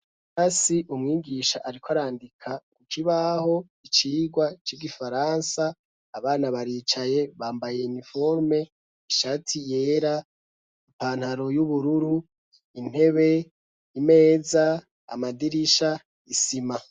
Ikirasi umwigisha ariko arandika ku kibaho icigwa c'igifaransa abana baricaye bambaye niforume ishati yera ipantaro y'ubururu, intebe, imeza, amadirisha isima.